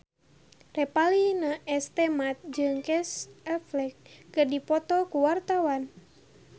Revalina S. Temat jeung Casey Affleck keur dipoto ku wartawan